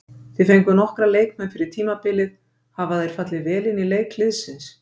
Þið fenguð nokkra leikmenn fyrir tímabilið, hafa þeir fallið vel inn í leik liðsins?